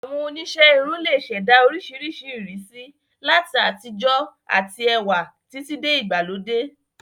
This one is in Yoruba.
Àwọn oníṣẹ́ irun lè ṣẹ̀dá oríṣiríṣi ìrísí, láti àtijọ́ àti ẹwà títí dé ìgbàlódé